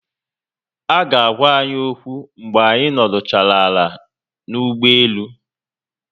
Aga agwa anyi okwu mgbe anyị nọdụchara ala n'ụgbọelu